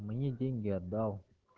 мне деньги отдал